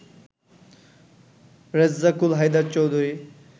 Rezzakul Haider Chowdhury